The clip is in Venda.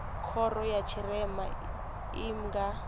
khoro ya tshirema i nga